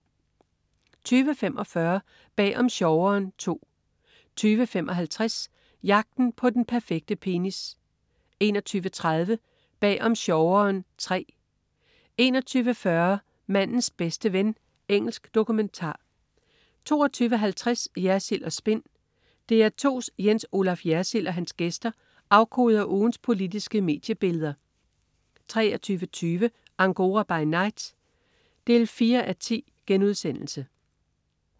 20.45 Bag om sjoveren II 20.55 Jagten på den perfekte penis 21.30 Bag om sjoveren III 21.40 Mandens bedste ven. Engelsk dokumentar 22.50 Jersild & Spin. DR2's Jens Olaf Jersild og hans gæster afkoder ugens politiske mediebilleder 23.20 Angora by night 4:10*